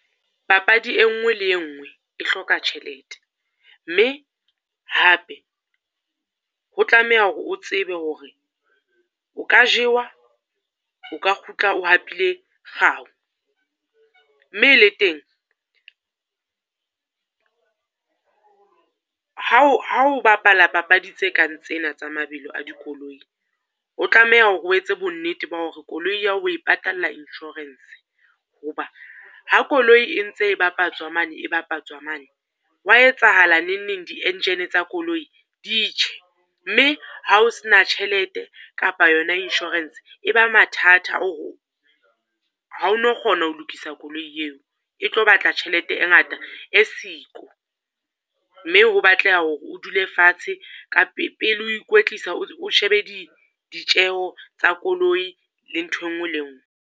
Papadi e nngwe le e nngwe e hloka tjhelete, mme hape ho tlameha hore o tsebe hore o ka jewa, o ka kgutla o hapileng kgau. Mme le teng, ha o ha o bapala papadi tse kang tsena tsa mabelo a di koloi, o tlameha hore o etse bonnete ba hore koloi ya ho o e patalla insurance. Ho ba ha koloi e ntse e bapatswa mane e bapatswa mane, ho wa etsahala nengneng di-engine tsa koloi di tjhe, mme ha o sena tjhelete kapa yona insurance, e ba mathata. Ha o no kgona ho lokisa koloi eo, e tlo batla tjhelete e ngata e siko. Mme ho batleha hore o dule fatshe ka pele o ikwetlisa o shebe di ditjeho tsa koloi le ntho e nngwe le e nngwe.